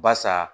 Barisa